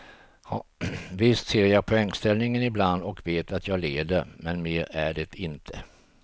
Visst ser jag poängställningen ibland och jag vet att jag leder, men mer är det inte.